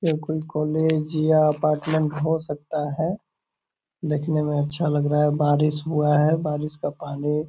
यह कोई कॉलेज या अपार्टमेंट हो सकता है। दिखने में अच्छा लग रहा है बारिश हुआ है बारिश का पानी --